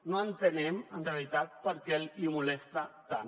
no entenem en realitat per què li molesta tant